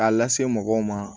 A lase mɔgɔw ma